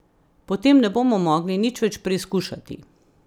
Po tem ne bomo mogli nič več preizkušati.